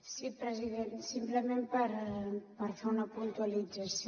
sí president simplement per fer una puntualització